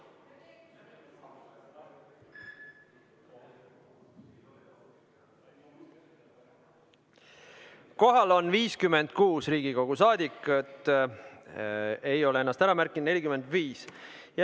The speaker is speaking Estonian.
Kohal on 56 Riigikogu liiget, ennast on märkimata jätnud 45.